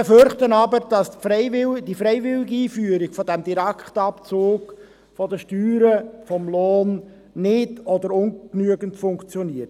Wir befürchten jedoch, dass die freiwillige Einführung dieses Direktabzugs der Steuern vom Lohn nicht oder nur ungenügend funktioniert.